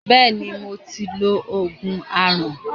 Bẹẹni, mo ti lo Ògùn aràn.